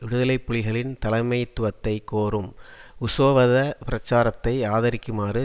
விடுதலை புலிகளின் தலைமைத்துவத்தை கோரும் உசோவத பிரச்சாரத்தை ஆதரிக்குமாறு